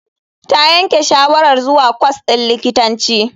Ta yanke shawarar zuwa kwas din likitanci.